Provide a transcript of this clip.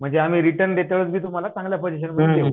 म्हणजे आम्ही रिटर्न देताना तुम्हाला चांगल्या पजेषणमध्ये देऊ